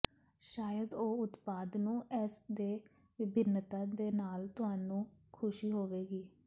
ਸ਼ਾਇਦ ਇਹ ਉਤਪਾਦ ਨੂੰ ਇਸ ਦੇ ਵਿਭਿੰਨਤਾ ਦੇ ਨਾਲ ਤੁਹਾਨੂੰ ਖੁਸ਼ੀ ਹੋਵੇਗੀ